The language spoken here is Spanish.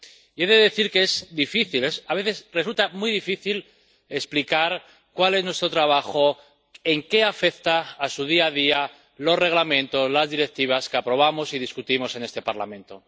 Y he de decir que a veces resulta muy difícil explicar cuál es nuestro trabajo, en qué afectan a su día a día los reglamentos, las directivas que aprobamos y debatimos en este Parlamento.